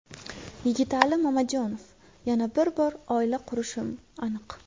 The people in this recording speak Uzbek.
Yigitali Mamajonov: Yana bir bor oila qurishim aniq .